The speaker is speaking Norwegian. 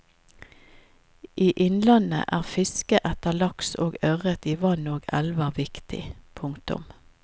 I innlandet er fiske etter laks og ørret i vann og elver viktig. punktum